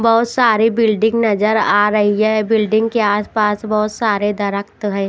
बहुत सारी बिल्डिंग नजर आ रही है बिल्डिंग के आसपास बहुत सारे दरक्त हैं।